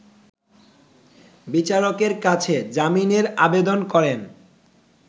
বিচারকের কাছে জামিনের আবেদন করেন